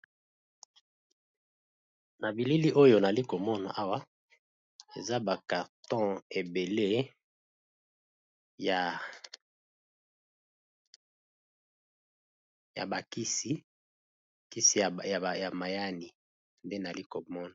Na bilili oyo nali komona awa eza ba carton ebele ya ba kisi, kisi ya mayani nde nali komona.